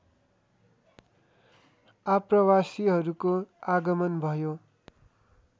आप्रवासीहरूको आगमन भयो